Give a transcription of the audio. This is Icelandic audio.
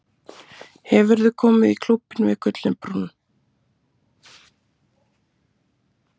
Hefurðu komið í Klúbbinn við Gullinbrú?